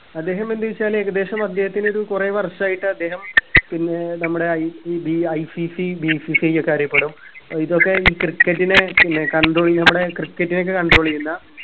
അദ്ദേഹം എന്ത് വെച്ചാൽ ഏകദേശം അദ്ദേഹത്തിനൊരു കുറെ വർഷായിട്ട് അദ്ദേഹം പിന്നെ നമ്മുടെ IEBICCBCCI യൊക്കെ അറിയപ്പെടും ഇതൊക്കെ ഈ cricket നെ പിന്നെ control ചെയ്യാ നമ്മുടെ cricket നെയൊക്കെ control ചെയ്യുന്ന